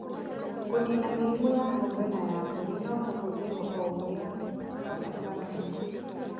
Kũniina mĩrimũ ya ng'ombe na ya mbũri no kũhũthĩrũo o ũrĩa kwabatarania